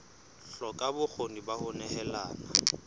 hloka bokgoni ba ho nehelana